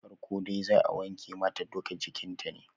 Farko dai zaa wanke mata duka jikin ta ne